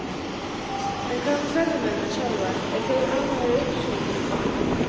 En hvað með ferðamennina sjálfa, eru þeir ánægðir í uppsveitunum?